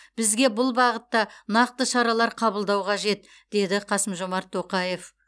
бізге бұл бағытта нақты шаралар қабылдау қажет деді қасым жормат тоқаев